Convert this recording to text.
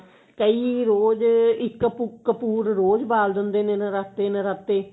ਕਈ ਰੋਜ ਇੱਕ ਕਪੂ ਕਪੂਰ ਰੋਜ ਬਾਲ ਦਿੰਦੇ ਨੇ ਨਰਾਤੇ ਨਾਰਤੇ